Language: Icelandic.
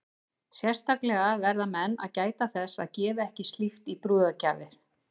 Sérstaklega verða menn að gæta þess að gefa ekki slíkt í brúðargjafir.